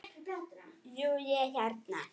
Jú, ég hérna.